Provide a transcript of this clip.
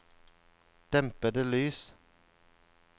dempede lys